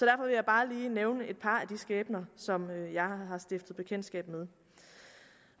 jeg bare lige nævne et par af de skæbner som jeg har stiftet bekendtskab med